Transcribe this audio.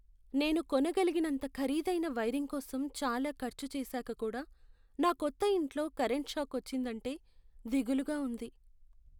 నేను కొనగలిగినంత ఖరీదైన వైరింగ్ కోసం చాలా ఖర్చు చేసాక కూడా నా కొత్త ఇంట్లో కరెంటు షాక్ వచ్చిందంటే దిగులుగా ఉంది.